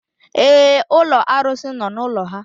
Èé, ụlọ arụsị nọ n'ụlọ ha.